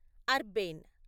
అర్బేన్